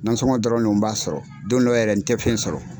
Na dɔrɔn de n b'a sɔrɔ dɔ dɔw yɛrɛ n tɛfɛn sɔrɔ.